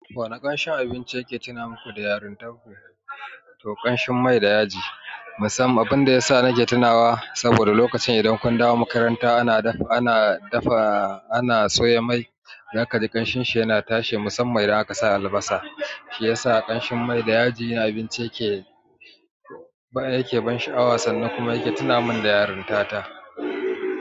Wani kamshin abinci yake tuna muku da yarintan ku? To ƙanshin mai da yaji, musamman abinda yasa nake tunawa saboda lokacin idan kun dawo makaranta ana dafa, ana soya mai, zaka ji ƙanshinsa yana tashe musamman idan aka sa albasa, shi yasa ƙanshin mai da yaji abinci yake baya yake ban sha'awa sannan yake tuna min da yaranta ta.